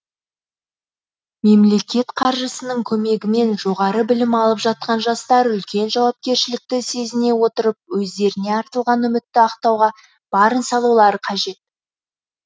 мемлекет қаржысының көмегімен жоғары білім алып жатқан жастар үлкен жауапкершілікті сезіне отырып өздеріне артылған үмітті ақтауға барын салулары қажет